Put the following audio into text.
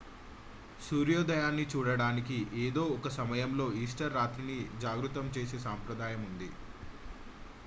సూర్యోదయాన్ని చూడటానికి ఏదో ఒక సమయంలో ఈస్టర్ రాత్రి ని జాగృతం చేసే సంప్రదాయం ఉంది